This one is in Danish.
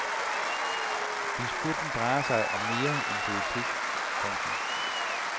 Disputten drejer sig om mere end politik. punktum